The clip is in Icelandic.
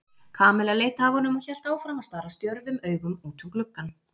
Kamilla leit af honum og hélt áfram að stara stjörfum augum út um gluggann.